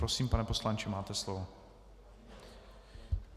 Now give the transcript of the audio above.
Prosím, pane poslanče, máte slovo.